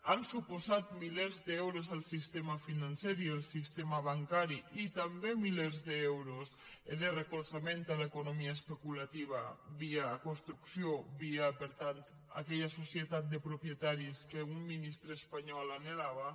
han suposat milers d’euros al sistema financer i al sistema bancari i també milers d’euros de recolzament a l’economia especulativa via construcció via per tant aquella societat de propietaris que un ministre espanyol anhelava